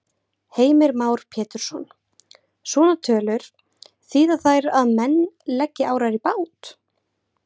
Heimir Már Pétursson: Svona tölur, þýða þær að menn leggi árar í bát?